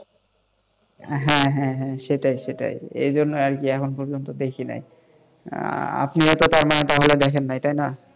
হ্যাঁ হ্যাঁ হ্যাঁ সেটাই সেটাই এইজন্য আর কি এখনো পর্যন্ত দেখিনি আপনিও তারমানে দেখেন নাই তাই না?